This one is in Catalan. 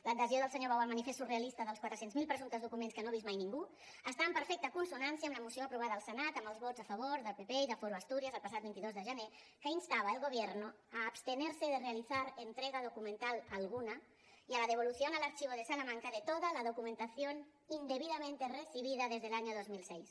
l’adhesió del senyor bou al manifest surrealista dels quatre cents miler presumptes documents que no ha vist mai ningú està en perfecta consonància amb la moció aprovada al senat amb els vots a favor del pp i de foro asturias el passat vint dos de gener que instava al gobierno a abstenerse de realizar entrega documental alguna y a la devolución al archivo de salamanca de toda la documentación indebidamente recibida desde el año dos mil sis